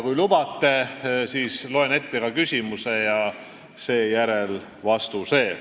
Kui lubate, siis ma loen ette ka küsimused ja seejärel vastused.